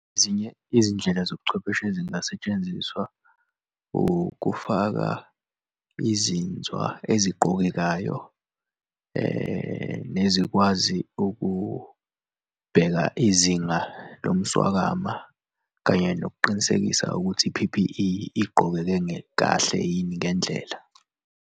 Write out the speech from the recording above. Ezinye izindlela zobuchwepheshe ezingasetshenziswa ukufaka izinzwa eziqokekayo nezikwazi ukubheka izinga lomswakama kanye nokuqinisekisa ukuthi i-P_P_E igqokeke kahle yini ngendlela.